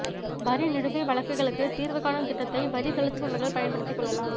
வரி நிலுவை வழக்குகளுக்கு தீா்வு காணும் திட்டத்தைவரி செலுத்துபவா்கள் பயன்படுத்திக் கொள்ளலாம்